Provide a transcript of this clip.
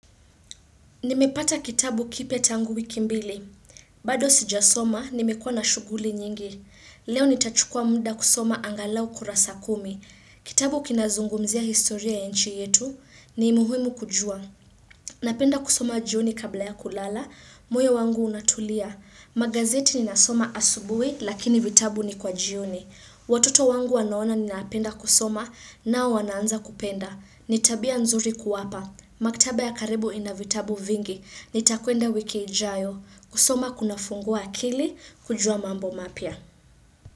Nimepata kitabu kipya tangu wiki mbili zilizopita. Bado sijasoma, nimekua na shuguli nyingi. Sentensi iliyosahihishwa: Leo nitachukua muda kusoma angalau kurasa kumi. Kitabu kinazungumzia historia ya nchi yetu ni muhumu kujua. Napenda kusoma jioni kabla ya kulala, muyo wangu unatulia. Magazeti nasoma asubuhi, lakini vitabu ni kwa jioni. Watoto wangu wanaona ni napenda kusoma nao wanaanza kupenda ni tabia nzuri kuwapa Maktaba ya karibu ina vitabu vingi nitaenda wiki ijayo kusoma kuna fungua akili kujua mambo mapya.